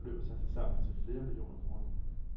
Kravene beløber sig til sammen til flere millioner kroner.